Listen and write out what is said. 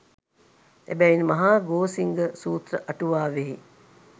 එබැවින් මහා ගෝසිංග සූත්‍ර අටුවාවෙහි